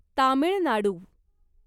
Tamil Nadu